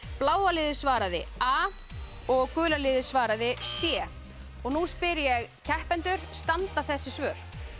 bláa liðið svaraði a og gula liðið svaraði c nú spyr ég keppendur standa þessi svör